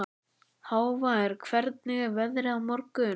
Hávarr, hvernig er veðrið á morgun?